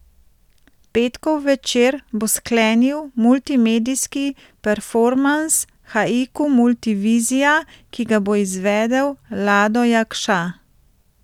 Petkov večer bo sklenil multimedijski performans Haiku multivizija, ki ga bo izvedel Lado Jakša.